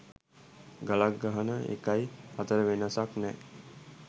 ගලක් ගහන එකයි අතර වෙනසක් නෑ